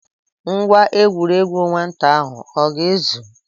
Ngwa egwuregwu nwata ahụ ọ ga-ezu?